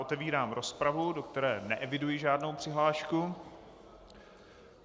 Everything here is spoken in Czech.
Otevírám rozpravu, do které neeviduji žádnou přihlášku.